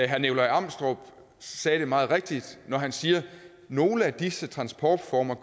herre nikolaj amstrup sagde det meget rigtigt da han sagde at nogle af disse transportformer